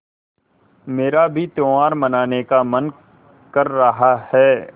मेरा भी त्यौहार मनाने का मन कर रहा है